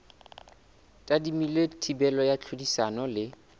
tadimilwe thibelo ya tlhodisano le